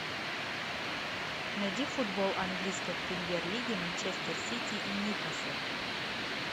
найди футбол английской премьер лиги манчестер сити и ньюкасла